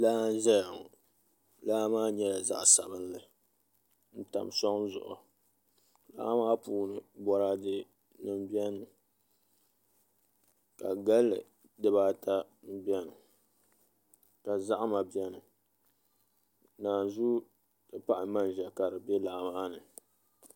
Laa n ʒɛya ŋo laa maa nyɛla zaɣ sabinli n tam soŋ zuɣu laa maa puuni boraadɛ nim bɛni mi ka galli dibaata bɛni ka zahama bɛni naanzuu ti pahi manʒa ka di bɛ laa maa ni